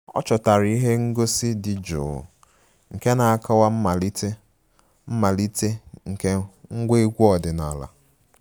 Ọ chọtara ihe ngosi dị jụụ nke na-akọwa mmalite mmalite nke ngwa egwu ọdịnala